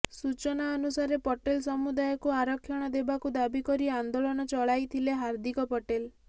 ସୂଚନା ଅନୁସାରେ ପଟେଲ ସମୁଦାୟକୁ ଆରକ୍ଷଣ ଦେବାକୁ ଦାବି କରି ଆନ୍ଦୋଳନ ଚଳାଇଥିଲେ ହାର୍ଦ୍ଦିକ ପଟେଲ